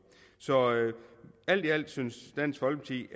så alt i alt synes dansk folkeparti